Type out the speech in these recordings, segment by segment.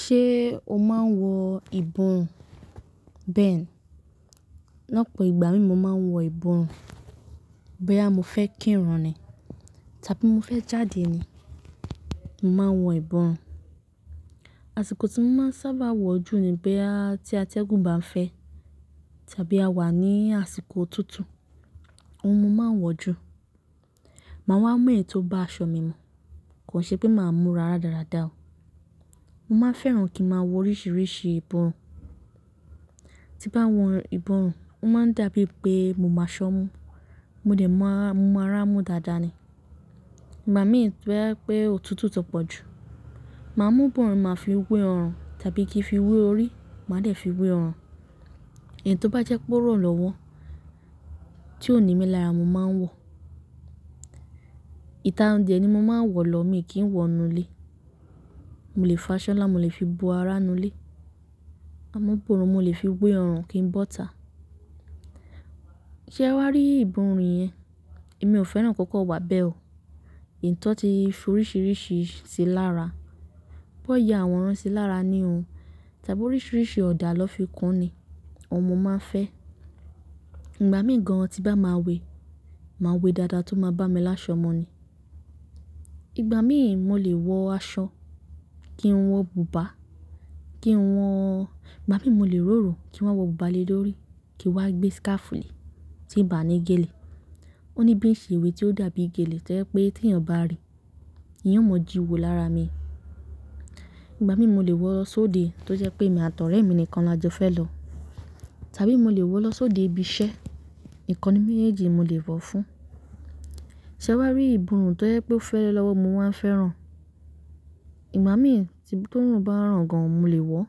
Ṣé o máa ń wọ ìbọrun? Bẹ́ẹ̀ni, lọ́pọ̀ ìgbà mi mo máa ń wọ ìbọrun Bí a mo fẹ́ kí irun ni tàbí mo fẹ́ jáde ni, màá n wọ ìbọrun Àsìkò tí mo máa ń sábà wọ̀ ọ́ jù ni bí a tí atẹ́gùn bá ń fẹ́ tàbí a wà ní àsìkọ̀ òtútù, oun ni máa ń wọ̀ ọ́ jù. Màá wá ń mọ ẹ̀yin tó bá aṣọ mi mọ̀, kò ṣe pé màá múra dáradára o. Mo máa ń fẹ́ràn kí màá wọ oríṣiríṣi ìbọrun Tí bá wọ̀n ìbọn, ó máa ń dàbí pé mo máa ṣọ́ mọ́, mo dẹ̀ máa mọ ara mú dáadáa ni. Ìgbà mìíràn tí ó bá jẹ́ pé òtútù tó pọ̀ jù, màá mú ìbọn, màá fi wẹ́ ọrùn tàbí kí fi wẹ́ orí, màá dẹ̀ fi wẹ́ ọrùn. Ẹ̀yin tó bá jẹ́ kó rọ̀ lọ́wọ́ tí ó ní mi lára, mo máa ń wọ̀. Ìtà oúnjẹ ni mo máa ń wọ̀ lọ mi kì í wọ inú ilé. Mo lè fa aṣọ là mo lè fi bo ara inú ilé. Àmọ́ ìbọn mo lè fi wẹ́ ọrùn kí ń bọ́ta. Ṣé wàá rí ìbọn rẹ̀ yẹn? Èmi ò fẹ́ràn kó kó wà bẹ́ẹ̀ o. Ìtọ́tí oríṣiríṣi ti lára. Bọ́ ìyẹ áwọ̀ rán sí lára ní òun tàbí oríṣiríṣi ọ̀dà lọ fi kán ni ọmọ máa ń fẹ́. Ìgbà mìíràn tí bá máa wẹ, màá wẹ dáadáa tó máa bá mi láṣọ ọmọ ni. Ìgbà mìíràn mo lè wọ aṣọ kí n wọ bùbá, kí n wọ-- ìgbà mìíràn mo lè ròrò kí n wọ bùbá lé lórí kí wá gbé síkáfù lè tí ì bá ní gèlè. Ó ní bí ì ṣe ewé tí ó dàbí gèlè tó jẹ́ pé tí èèyàn bá rí i, ìyẹn mọ jíwo lára mi. Ìgbà mìíràn mo lè wọ sóde tó jẹ́ pé èmi àti ọ̀rẹ́ mi nìkan la jọ fẹ́ lọ tàbí mo lè wọ lọ sóde ibi iṣẹ́. Ìkanni méjèèjì mo lè wọ̀ fún. Ṣé wàá rí ìbọn tó jẹ́ pé ó fẹ́rẹ̀ lọ́wọ́, mo máa ń fẹ́ràn. Ìgbà mìíràn tí tó nù bá ràn gan, mo lè wọ̀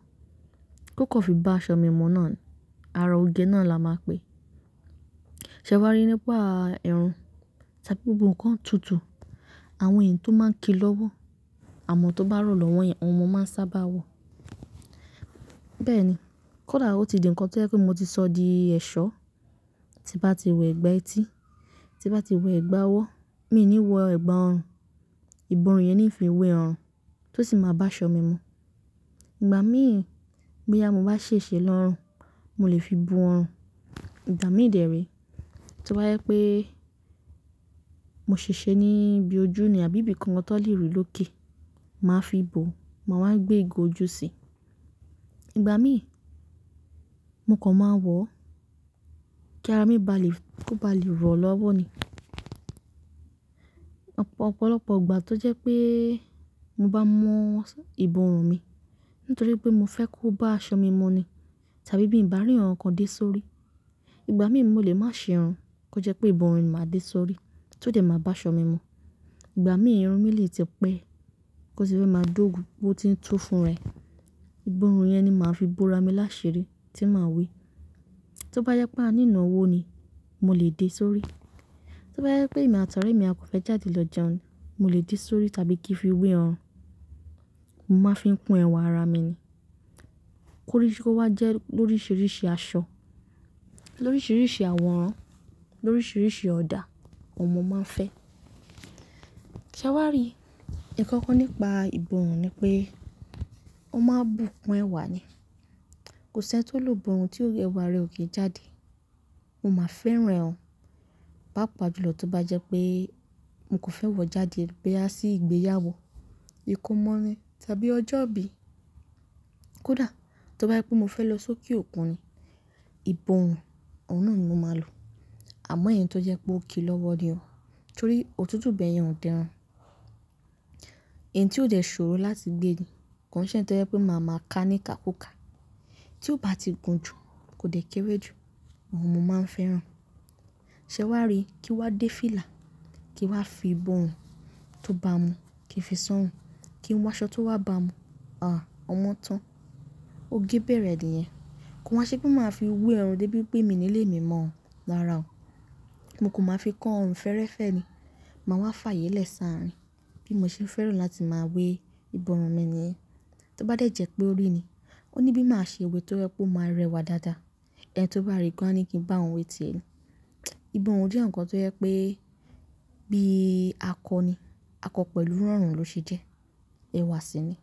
kó kọ́ fi bá aṣọ mi mọ́ náà ni ara oge náà la máa pè. Ṣé wàá rí nípa ẹrù tàbí ohun kan tútù, àwọn ẹ̀yin tó máa ń ki lọ́wọ́, àwọn tó bá rọ̀ lọ́wọ́ yẹn, ọmọ máa ń sábà wọ̀. Bẹ́ẹ̀ ni, kódà ó ti di ǹkan tó jẹ́ pé mo ti sọ di ẹ̀ṣọ́ tí bá ti wọ ẹ̀gbà etí, tí bá ti wọ ẹ̀gbà ọwọ́, mi ò ní wọ ẹ̀gbà ọrùn. Ìbọn yẹn ni ì fi ń wẹ ọrùn tó sì máa bá aṣọ mi mọ́. Ìgbà mìíràn bí àyà mo bá ṣe ṣe lọ́rùn, mo lè fi bu ọrùn. Ìgbà mìíràn lòde rí tí ó bá jẹ́ pé mo ṣe ṣe ní ibi ojú ni àbí ibi kan tó lè rí lókè, màá fi bò, màá wá gbé ìgò ojú sí. Ìgbà mìíràn, nǹkan máa ń wọ̀ kí ara mi bá lè kó bá lè rọ̀ lọ́wọ́ ni. Ọ̀pọ̀lọpọ̀ ìgbà tó jẹ́ pé mo bá mọ ìbọn mi nítorí pé mo fẹ́ kó bá aṣọ mi mọ́ ni tàbí bí ì bá rí ọ̀ràn kan dé sórí, ìgbà mìíràn mo lè má ṣe òun kó jẹ́ pé ìbọn mi máa dé sórí tó dẹ̀ máa bá aṣọ mi mọ́. Ìgbà mìíràn irun mi lè tẹpẹ́ kó ṣe wípé máa dógun bó tí ń tó fún rẹ̀. Ìbọn rẹ̀ yẹn ni màá fi bu ara mi láṣeré tí màá wẹ. Tó bá jẹ́ pé a ní ìnáwó ni, mo lè dé sórí. Tó bá jẹ́ pé èmi àti ọ̀rẹ́ mi a kò fẹ́ jáde lọ jẹun, mo lè dé sórí tàbí kí fi wẹ ọrùn. Mo máa fi ń kún ẹwà ara mi ni. Kóríṣí kó wá jẹ́ lóríṣiríṣi aṣọ, lóríṣiríṣi àwòrán, lóríṣiríṣi ọ̀dà ọmọ máa ń fẹ́. Ṣé wàá rí? Ìkọ́kọ́ nípa ìbọn ni pé ó máa ń bùkún ẹwà ni. Kò sí ẹni tó lò ìbọn tí ò jẹ́ pé ẹwà rẹ̀ ò gé jáde. Mo máa ń fẹ́ràn òun. Bá pàjùlọ tó bá jẹ́ pé mo kò fẹ́ wọ̀ jáde gbé á sí ìgbéyàwó, ìkómọ rin tàbí ọjọ́ ìbí. Kódà tó bá jẹ́ pé mo fẹ́ lọ sókè òkun ni, ìbọn, ọ̀nà náà ni mo máa lò. Àmọ́ ẹ̀yin tó jẹ́ pé ó ki lọ́wọ́ ni o, torí òtútù bẹ́ẹ̀ yẹn ò tẹ́ra. Ẹ̀yin tí ó dẹ̀ ṣòro láti gbé ni kò sí ẹ̀yin tó jẹ́ pé màá ma ká ní ka kú ka. Tí ó bá ti gùn jù kò dẹ̀ kéré jù, ọmọ máa ń fẹ́ràn. Ṣé wàá rí kí wá dé fílà, kí wá fi ìbọn tó bá mu, kí n fi sán òun, kí n wọ aṣọ tó wá bá mu, àáà, ọmọ tán. Ó gé bẹ̀rẹ̀ àdìyẹ. Kò ha ṣe pé màá fi wẹ ọrùn dé bí pé mi nílé mi mọ̀ ọ́n lára o. Mo kò máa fi kán ọrùn fẹ́ẹ́rẹ́fẹ́ ni. Màá wá fààyè lẹ́sàárín bí mo ṣe ń fẹ́ràn láti máa wẹ ìbọn mi nìyẹn. Tó bá dẹ̀ jẹ́ pé orí ni, ó ní bí màá ṣe ewé tó jẹ́ pé ó máa rẹwà dáadáa. Ẹni tó bá rí i kò ha ní kí n bá òun wé ti èni. Ìbọn jẹ́ ǹkan tó jẹ́ pé bí a kọ ni, a kọ pẹ̀lú rọ̀rùn ló ṣe jẹ́ ẹwà síi ni.